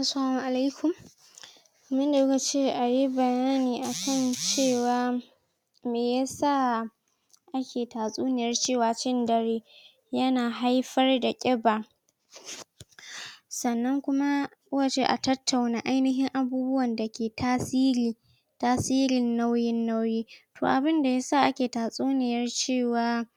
Assalamu alikum Mune muka ce ayi bayani akan cewa me yasa ake tatsuniyar cewa cin dare ya na haifar da ƙiba. Sannan kuma ku ka ce a tattauna ainihin abubuwan da ke tasiri tasirin nauyin nauyi. To abunda yasa ake tatsuniyar cewa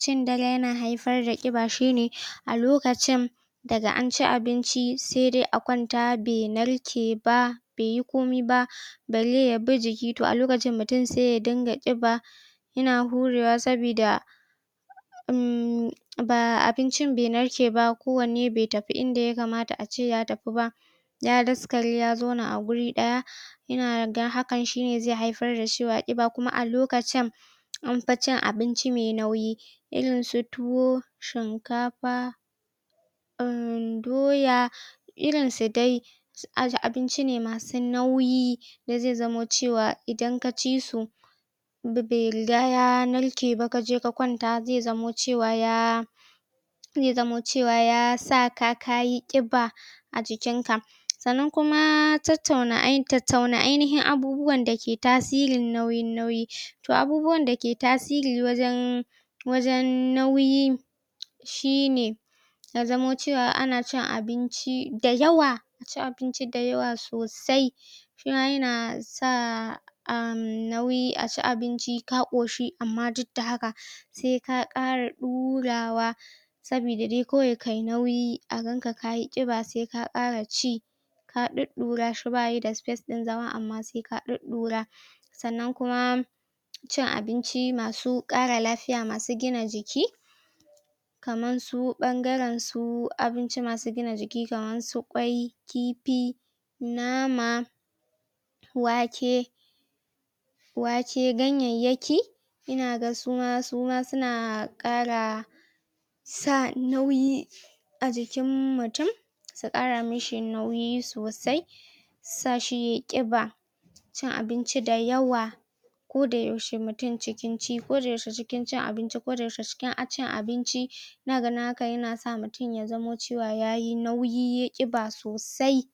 cin dare ya na haifar da ƙiba, shi ne a lokacin daga anci abinci sai dai akwanta br nar ke ba, be yi komi ba, balle ya bi jiki. To a lokacin mutum sai ya dinga ƙiba ya na hurewa sabida umm baa abincin be narke ba. Kowanne be tafi inda ya kamata ace ya tafi ba, ya daskare, ya zauna a gurin ɗaya. Ina ga hakan shi ne zai hafar da cewa ƙiba kuma a lokacin anfi cin abinci mai nauyi. Irin su tuwo, shinkafa umm doya, irin su dai aje, abinci ne masu nauyi. Sai zia zamo cewa idan ka ci su be be riga ya narke ba kaje ka kwanta zai zamo cewa ya zai zamo cewa ya saka kayi ƙiba a jikin ka. Sannan ku tat tauna tattauna ainihin abubuwan da ke tasirin nauyin nauyi. To abubuwan da ke tasiri wajen wajen nauyi shi ne ya zamo cewa ana cin abinci da yawa cin abinci da yawa sosai. Shi ma ya na sa amm nauyi aci abinci ka ƙoshi amma duk da haka sai ka ƙara ɗurawa sabida dai kawai kayi nauyi a gan ka kayi ƙiba sai ƙara ci. Ka ɗuɗɗura shi ba ya da space ɗin zama amma sai ka ɗuɗɗura. Sannan kuma cin abinci masu ƙara lafiya masu gina jiki kaman su ɓangare su abinci masu gina jiki kaman su ƙwai, kifi, nama, wake wake, ganyayyaki, ina ga su ma, su ma su na ƙara sa nauyi a jikin mutum, su ƙara mishi nauyi sosai, sa shi yayi ƙiba. Cin abinci da yawa koda yaushe mutum cikin ci koda yaushe cikin cin abinci, koda yaushe cikin a cin abinci, ina ganin haka ya na sa mutum ya zama cewa yayi nauyi, ƙiba sosai.